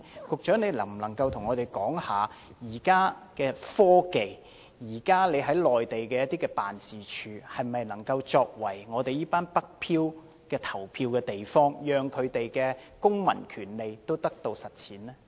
局長能否回應，憑藉現時的科技，特區政府駐內地辦事處能否作為"北漂"市民的投票地方，讓他們的公民權利得以實踐？